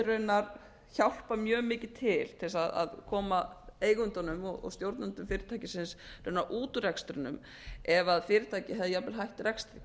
raunar hjálpað mjög mikið til til þess að koma eigendunum og stjórnendum fyrirtækisins út úr rekstrinum ef fyrirtæki hefði jafnvel hætt rekstri